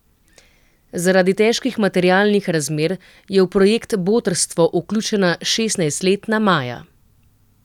Zaradi težkih materialnih razmer je v projekt Botrstvo vključena šestnajstletna Maja.